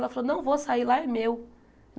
Ela falou, não vou sair, lá é meu.